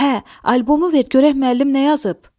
Hə, albomu ver görək müəllim nə yazıb.